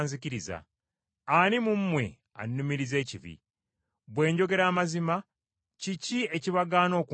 Ani mu mmwe annumiriza ekibi? Bwe njogera amazima, kiki ekibagaana okunzikiriza?